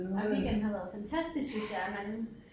Ej weekenden har været fantastisk synes jeg at man